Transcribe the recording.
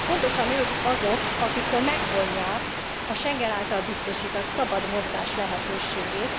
Pontosan ők azok, akiktől megvonják a Schengen által biztosított szabad mozgás lehetőségét.